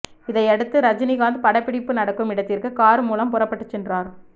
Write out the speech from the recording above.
இதையடுத்து ரஜினிகாந்த் படப்பிடிப்பு நடக்கும் இடத்திற்கு கார் மூலம் புறப்பட்டு சென்றார்